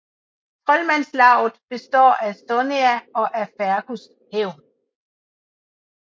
Trolmandslavet består af Sonea og af Fergus hævn